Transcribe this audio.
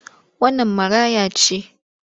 Wannan maraya ce?